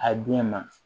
A den ma